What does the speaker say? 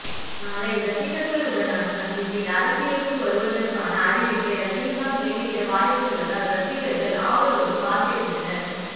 நாளை ரசிகர்கள் உடனான சந்திப்பில் அரசியலுக்கு வருவதற்கான அறிவிப்பை ரஜினிகாந்த் வெளியிட வாய்ப்புள்ளதால் ரசிகர்கள் ஆவலோடு காத்திருக்கின்றனர்